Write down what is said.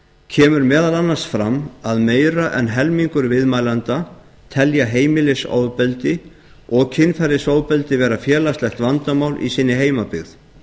kemur meðal annars fram að meira en helmingur viðmælenda telja heimilisofbeldi og kynferðisofbeldi vera félagslegt vandamál í sinni heimabyggð